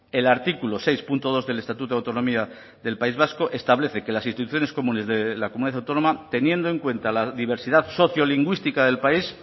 el artículo seis punto dos del estatuto de autonomía del país vasco establece que las instituciones comunes de la comunidad autónoma teniendo en cuenta la diversidad sociolingüística del país